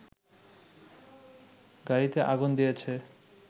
গাড়ীতে আগুন দিয়েছে